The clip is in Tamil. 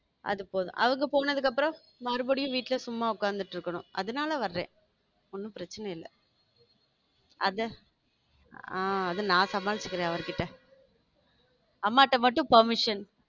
அது போதும் அவங்க போனதுக்கு அப்புறம் மறுபடியும் வீட்ல சும்மா உட்கார்ந்துட்டு இருக்கணும் அதனால வரேன் ஒண்ணும் பிரச்சனை இல்ல அத ஆ அது நா சமாளிச்சுக்கிறேன் அவர்கிட்ட அம்மாட்ட மட்டும் permission